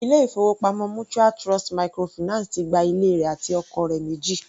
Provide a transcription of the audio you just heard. Ilé-ìfowópamọ́ mutual Trust microfinance ti gba ilé rẹ̀ àti ọkọ̀ rẹ̀ méjì.